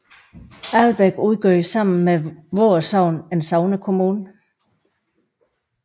Albæk udgjorde sammen med Voer Sogn en sognekommune